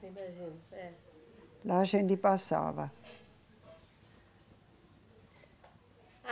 Imagino, é. Lá a gente passava.